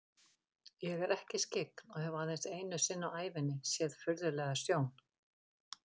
Ég er ekki skyggn og hef aðeins einu sinni á ævinni séð furðulega sjón.